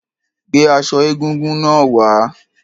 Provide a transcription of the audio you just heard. Gbé aṣọ egúngún náà wá.